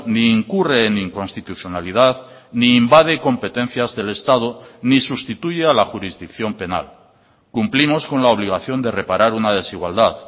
ni incurre en inconstitucionalidad ni invade competencias del estado ni sustituye a la jurisdicción penal cumplimos con la obligación de reparar una desigualdad